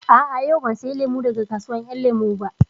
A'a, yau ban saya lemu daga kasuwar ƴan lemu ba